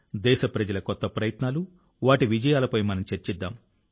దేశప్రజల కొత్త ప్రయత్నాలు వాటి విజయాలపై మనం చర్చిద్దాం